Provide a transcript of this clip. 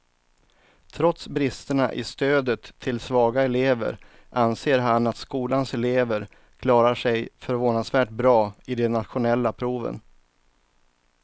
Trots bristerna i stödet till svaga elever anser han att skolans elever klarar sig förvånansvärt bra i de nationella proven.